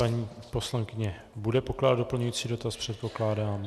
Paní poslankyně bude pokládat doplňující dotaz, předpokládám.